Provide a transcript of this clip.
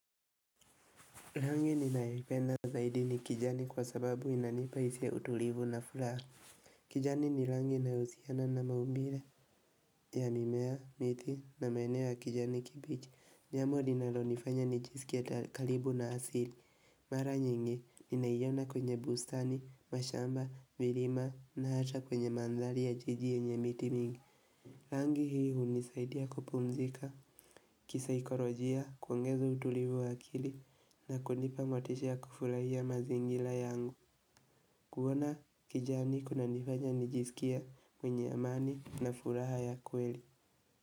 Rangi ninayoipenda zaidi ni kijani kwa sababu inanipa hisia ya utulivu na furaha. Kijani ni rangi inayo husiana na maumbile. Yamimea, miti na maeneo ya kijani kibichi jambo linalo nifanya nijisikie karibu na asili. Mara nyingi, ninaiona kwenye bustani, mashamba, milima na hata kwenye manzari ya jiji yenye miti mingi rangi hii huni saidia kupumzika. Kisa ikorojia kuongeza utulivu wa akili na kunipa motisha ya kufurahia mazingira yangu. Kuona kijani kuna nifanya nijisikie mwenye amani na furaha ya kweli.